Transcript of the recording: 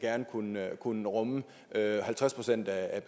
kunne rumme halvtreds procent af